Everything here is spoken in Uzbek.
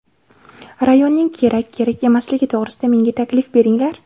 Rayonning kerak, kerak emasligi to‘g‘risida menga taklif beringlar.